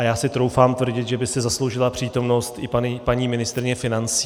A já si troufám tvrdit, že by si zasloužila přítomnost i paní ministryně financí.